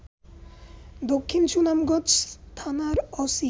দক্ষিণ সুনামগঞ্জ থানার ওসি